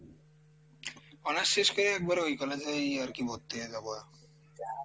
honors শেষ করে একবারে ওই college এই আরকি ভর্তি হয়ে যাবো